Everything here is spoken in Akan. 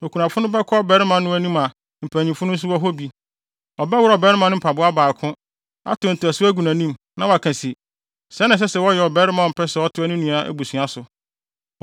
okunafo no bɛkɔ ɔbarima no anim a mpanyimfo no nso wɔ hɔ bi. Ɔbɛworɔw ɔbarima no mpaboa baako, ate ntasu agu nʼanim na waka se, “Sɛɛ na ɛsɛ sɛ wɔyɛ ɔbarima a ɔmpɛ sɛ ɔtoa ne nua abusua so.”